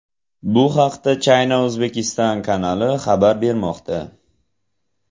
Bu haqda China-Uzbekistan kanali xabar bermoqda .